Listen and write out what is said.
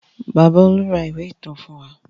Bàbá Olú ra ìwé ìtàn fún wa.